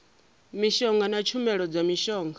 mishonga na tshumelo dza mishonga